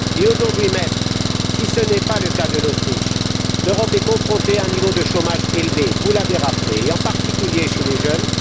Aujourd'hui même, si ce n'est pas le cas de l'Autriche, l'Europe est confrontée à un niveau de chômage élevé vous l'avez rappelé en particulier chez les jeunes.